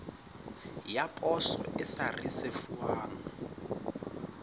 ya poso e sa risefuwang